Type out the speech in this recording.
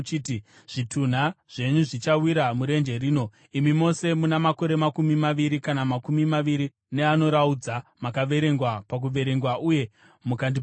Zvitunha zvenyu zvichawira murenje rino, imi mose muna makore makumi maviri kana makumi maviri neanoraudza makaverengwa pakuverengwa uye mukandipopotera.